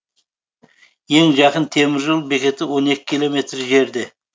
ең жақын темір жол бекеті он екі километр жерде